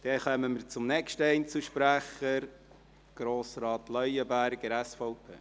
Damit kommen wir zum nächsten Einzelsprecher: Grossrat Leuenberger, SVP.